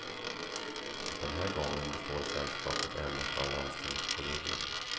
Den här gången består sällskapet endast av landstingskolleger.